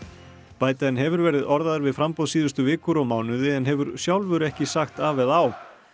biden hefur verið orðaður við framboð síðustu vikur og mánuði en hefur sjálfur ekki sagt af eða á